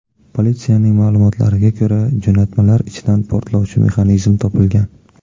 Politsiyaning ma’lumotlariga ko‘ra, jo‘natmalar ichidan portlovchi mexanizm topilgan.